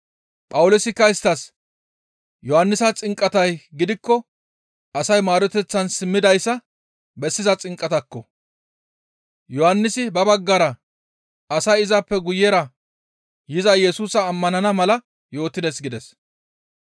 Phawuloosikka isttas, «Yohannisa xinqatay gidikko asay maaroteththan simmidayssa bessiza xinqatakko! Yohannisi ba baggara asay izappe guyera yiza Yesusa ammanana mala yootides» gides.